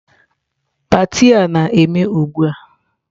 Pati a na-eme ugbu a.